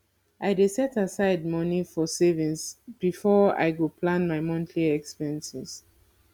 i dey set aside money for savings before i go plan my monthly expenses